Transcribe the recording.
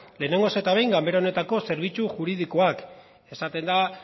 lehenengoz eta behin ganbara honetako zerbitzu juridikoak esaten da